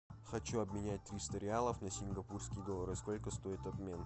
хочу обменять триста реалов на сингапурские доллары сколько стоит обмен